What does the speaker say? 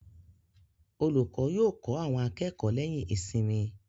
Olùkọ́ yóò kọ́ àwọn akẹ́kọ̀ọ́ lẹ́yìn ìsinmi.